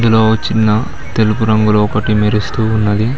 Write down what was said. ఇందులో ఓ చిన్న తెలుపు రంగులో ఒకటి మెరుస్తూ ఉన్నది.